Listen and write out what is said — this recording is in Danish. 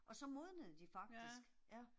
Og så modnede de faktisk. Ja